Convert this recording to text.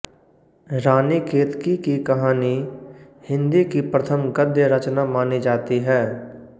रानी केतकी की कहानी हिन्दी की प्रथम गद्य रचना मानी जाती है